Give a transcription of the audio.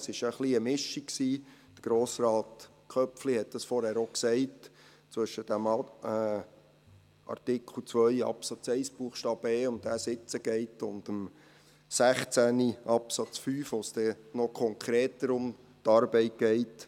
Es war ein bisschen eine Mischung – Grossrat Köpfli hat es vorhin gesagt – zwischen dem Artikel 2 Absatz 1 Buchstaben e, um welchen es jetzt geht, und dem Artikel 16 Absatz 5, in dem es dann noch konkreter um die Arbeit geht.